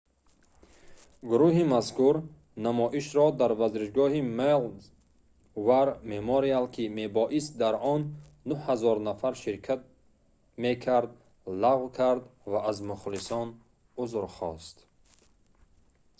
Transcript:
гурӯҳи мазкур намоишро дар варзишгоҳи maui's war memorial ки мебоист дар он 9 000 нафар ширкат мекард лағв кард ва аз мухлисон узр хост